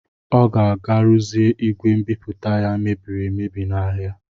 Ọ ga-aga ruzie igwe mbipụta ya mebiri emebi n'ahịa.